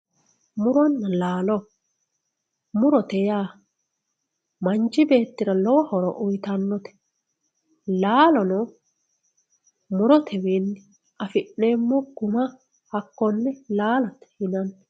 muronna laalo murote yaa manchi beettira lowo horo uyiitannote laalono murote wiinni afi'neemmo guma hakkonne laalote yinanni.